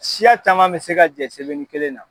Siya caman bɛ se ka jɛ sɛbɛnni kelenna.